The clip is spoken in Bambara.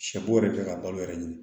Sɛ bo yɛrɛ kɛ ka balo yɛrɛ ɲini